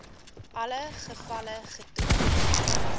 alle gevalle getoon